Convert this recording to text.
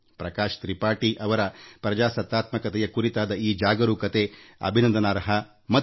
ಪ್ರಕಾಶ್ ತ್ರಿಪಾಠಿ ಅವರ ಪ್ರಜಾತಂತ್ರದ ಬಗೆಗಿನ ಕಾಳಜಿ ಮೌಲ್ಯಯುತವಾದ್ದು